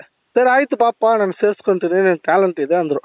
ಸರಿ ಅಯ್ತು ಬಾಪ್ಪ ನಾನ್ ಸೇರಿಸ್ಕೊಳ್ತೀನಿ ನಿನಗೆ talent ಇದೆ ಅಂದ್ರು